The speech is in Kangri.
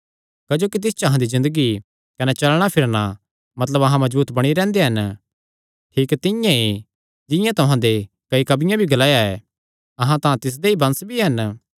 क्जोकि तिस च अहां दी ज़िन्दगी कने चलणा फिरणा मतलब अहां मजबूत बणी रैंह्दे हन ठीक तिंआं ई जिंआं तुहां दे कई कवियां भी ग्लाया ऐ अहां तां तिसदे ई वंश भी हन